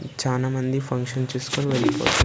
చానామంది ఫంక్షన్ చూసుకొని వెళ్ళిపోతున్నారు.